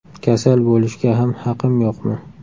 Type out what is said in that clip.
Kasal bo‘lishga ham haqim yo‘qmi?